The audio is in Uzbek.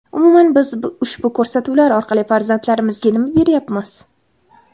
Umuman, biz bu ko‘rsatuvlar orqali farzandlarimizga nima beryapmiz?